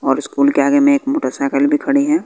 और स्कूल के आगे में एक मोटरसाइकिल भी खड़ी है।